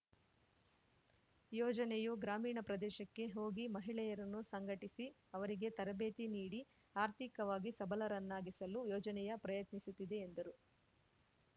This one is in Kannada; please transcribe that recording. ಯೋಜನೆಯು ಗ್ರಾಮೀಣ ಪ್ರದೇಶಕ್ಕೆ ಹೋಗಿ ಮಹಿಳೆಯರನ್ನು ಸಂಘಟಿಸಿ ಅವರಿಗೆ ತರಬೇತಿ ನೀಡಿ ಆರ್ಥಿಕವಾಗಿ ಸಬಲರನ್ನಾಗಿಸಲು ಯೋಜನೆಯ ಪ್ರಯತ್ನಿಸುತ್ತಿದೆ ಎಂದರು